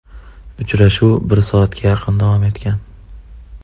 Uchrashuv bir soatga yaqin davom etgan.